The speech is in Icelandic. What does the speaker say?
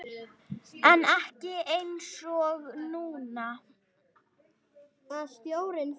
En ekki einsog núna.